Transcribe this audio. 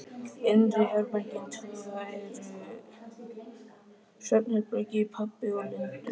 Innri herbergin tvö voru svefnherbergi pabba og Lindu.